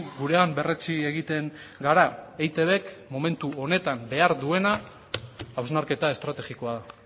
gurean berretsi egiten gara eitbk momentu honetan behar duena hausnarketa estrategikoa da